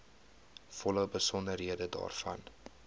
volle besonderhede daarvan